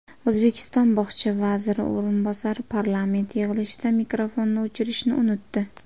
O‘zbekiston bog‘cha vaziri o‘rinbosari parlament yig‘ilishida mikrofonni o‘chirishni unutdi.